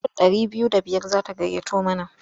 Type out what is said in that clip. Mutum ɗari biyu da biyar za ta gayyato mana.